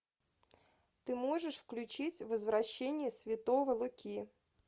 ты можешь включить возвращение святого луки